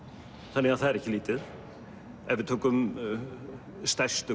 þannig að það er ekki lítið ef við tökum stærstu